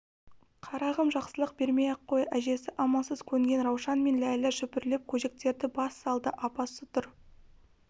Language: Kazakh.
қарағым жақсылық бермей-ақ қой әжесі амалсыз көнген раушан мен ләйлә шүпірлеп көжектерді бас салды апасы тұр